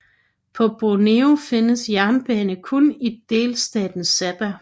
På Borneo findes jernbane kun i delstaten Sabah